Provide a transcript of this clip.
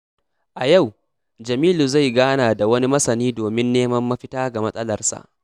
A yau, Jamilu zai gana da wani masani domin neman mafita ga matsalarsa.